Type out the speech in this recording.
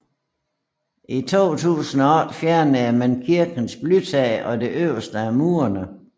I 2008 fjernede man kirkens blytag og det øverste af murene